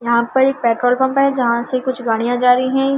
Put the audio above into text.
यहां पर एक पेट्रोल पंप है जहां से कुछ गाड़ियां जा रही हैं।